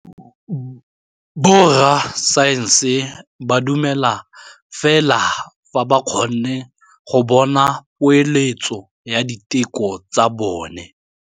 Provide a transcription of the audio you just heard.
Borra saense ba dumela fela fa ba kgonne go bona poeletsô ya diteko tsa bone.